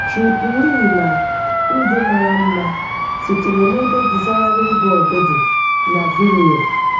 Trip Lee na “Ndụ Mara Mma” sitere n’ebe Desiring God dị na Vimeo.